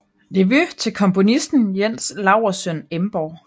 Nevø til komponisten Jens Laursøn Emborg